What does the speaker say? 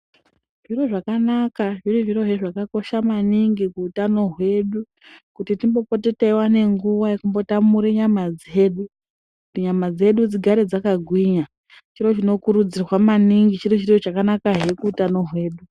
Zviro zvakanaka zviri zviro zvakakosha maningi kuutano hwedu. Kuti timbopote teiwana nguva yekumbo tamure nyama dzedu. Kuti nyama dzedu dzigare dzakagwinya, chiro chinokurudzirwa maningi chiro chakanakahe kuutano hwedu.